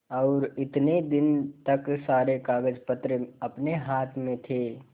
और इतने दिन तक सारे कागजपत्र अपने हाथ में थे